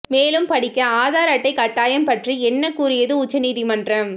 மேலும் படிக்க ஆதார் அட்டை கட்டாயம் பற்றி என்ன கூறியது உச்ச நீதிமன்றம்